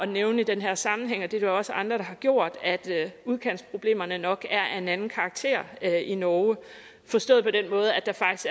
nævne i den her sammenhæng og det er der jo også andre der har gjort at udkantsproblemerne nok er af en anden karakter i norge forstået på den måde